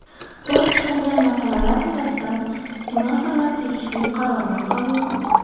Ko‘rib chiqilgan masalalar yuzasidan senatorlar tegishli qarorlar qabul qildi.